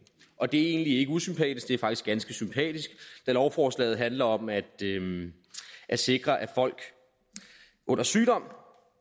og det er egentlig ikke usympatisk det er faktisk ganske sympatisk da lovforslaget handler om at at sikre at folk under sygdom